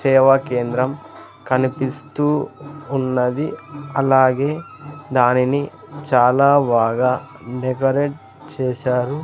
సేవా కేంద్రం కనిపిస్తూ ఉన్నది అలాగే దానిని చాలా బాగా డెకరేట్ చేశారు.